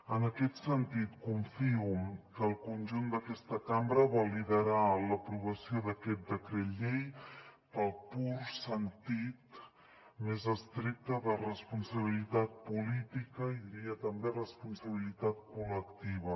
en aquest sentit confio que el conjunt d’aquesta cambra validarà l’aprovació d’aquest decret llei pel pur sentit més estricte de responsabilitat política i diria també responsabilitat col·lectiva